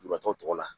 Lujuratɔ tɔgɔ la